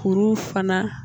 Furu fana